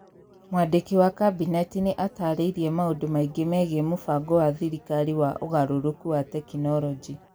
Mwandĩki wa Kabineti nĩ aataarĩirie maũndũ maingĩ megiĩ mũbango wa thirikari wa ũgarũrũku wa tekinolonjĩ.